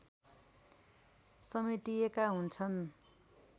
समेटिएका हुन्छन्